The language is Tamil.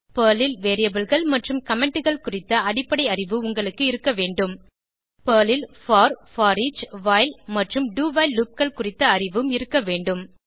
பெர்ல் ல் Variableகள் மற்றும் Commentகள் குறித்த அடிப்படை அறிவு உங்களுக்கு இருக்க வேண்டும் பெர்ல் ல் போர் போரிச் வைல் மற்றும் do வைல் loopகள் குறித்த அறிவும் இருக்க வேண்டும்